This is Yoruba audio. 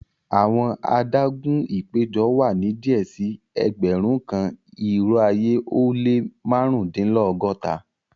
Awọn àdàgún ìpẹjọ wa ni díẹ̀ sí ẹgbérùn kan irò ayé o le màrundinlọ́gọ́ta